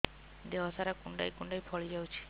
ଦେହ ସାରା କୁଣ୍ଡାଇ କୁଣ୍ଡାଇ ଫଳି ଯାଉଛି